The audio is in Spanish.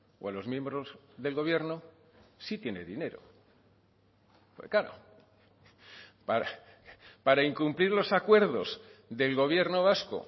o a los miembros del gobierno sí tiene dinero porque claro para incumplir los acuerdos del gobierno vasco